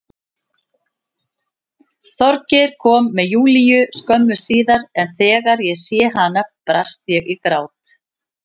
Þorgeir kom með Júlíu skömmu síðar en þegar ég sá hana brast ég í grát.